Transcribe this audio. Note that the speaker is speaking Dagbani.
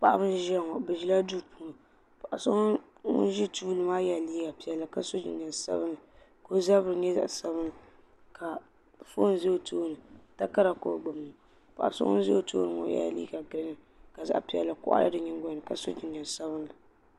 paɣba n ʒɛya ŋɔ be ʒɛla do puuni paɣ so ŋɔ ʒɛ tuli maa yɛla liga piɛli ka so jinjam sabinli ka ozabiri nyɛ zaɣ sabinli ka ƒɔni za o tooni takari ko o gbabi paɣ so ŋɔ ʒɛ o tuuni ŋɔ yɛla liga girin ka zaɣ piɛli kogili di nyɛgolini ka so jinjam sabinli